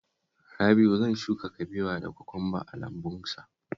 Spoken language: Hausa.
Rabi'u zan shuka kabewa da kwakwamba a lambunsa